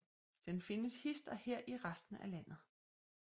Den findes hist og her i resten af landet